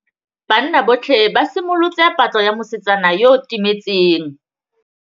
Banna botlhê ba simolotse patlô ya mosetsana yo o timetseng.